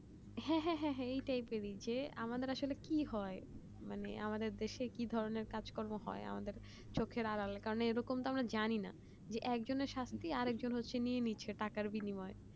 হ্যাঁ হ্যাঁ হ্যাঁ এটাই এটাই যে আমাদের আসলে কি হয় মানে আমাদের দেশে কি ধরণের কাজ কর্ম হয় আবার চোখের আড়ালে কারণ এ রকম আমার জানি না এক জনের শাস্তি আরেখ জনের নিয়ে নিচ্ছে টাকার বিনিময়ে